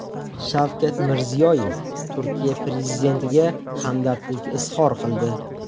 Shavkat Mirziyoyev Turkiya prezidentiga hamdardlik izhor qildi .